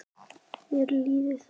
Mér líður þannig.